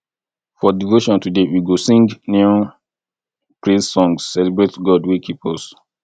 for devotion today we go sing new praise songs celebrate god wey keep us